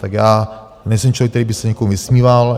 Tak já nejsem člověk, který by se někomu vysmíval.